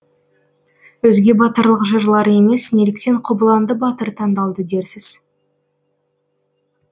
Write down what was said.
өзге батырлық жырлар емес неліктен қобыланды батыр таңдалды дерсіз